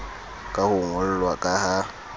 ka ho ngollwa ka ha